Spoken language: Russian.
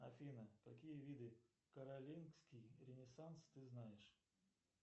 афина какие виды каролингский ренессанс ты знаешь